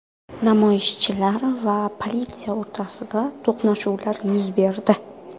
Namoyishchilar va politsiya o‘rtasida to‘qnashuvlar yuz berdi.